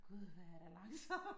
Gud hvor er der langsomt